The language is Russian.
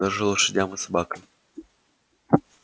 даже лошадям и собакам